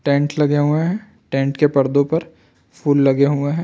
Tent लगे हुए है टेंट के पर्दो पर फूल लगे हुए है।